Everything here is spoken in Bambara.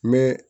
Mɛ